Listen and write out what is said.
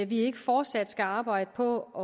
vi ikke fortsat skal arbejde på at